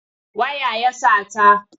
Waya ya sata.